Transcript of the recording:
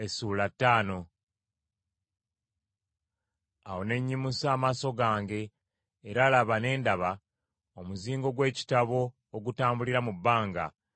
Awo ne nnyimusa amaaso gange era laba ne ndaba, omuzingo gw’ekitabo ogutambulira mu bbanga.